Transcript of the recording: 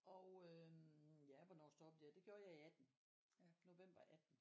og øhm ja hvornår stoppede jeg det gjorde jeg i 18. November 18